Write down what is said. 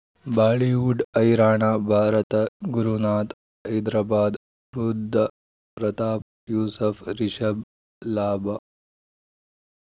Bollywood ಹೈರಾಣ ಭಾರತ ಗುರುನಾಥ್ ಹೈದರಾಬಾದ್ ಬುಧ್ ಪ್ರತಾಪ್ ಯೂಸುಫ್ ರಿಷಬ್ ಲಾಭ